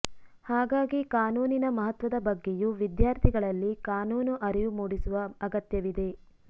ಹಾಗಾಗಿ ಕಾನೂನಿನ ಮಹತ್ವದ ಬಗ್ಗೆಯೂ ವಿದ್ಯಾರ್ಥಿಗಳಲ್ಲಿ ಕಾನೂನು ಅರಿವು ಮೂಡಿಸುವ ಅಗತ್ಯವಿದೆ